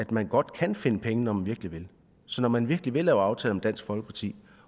man godt kan finde penge når man virkelig vil så når man virkelig vil lave aftaler med dansk folkeparti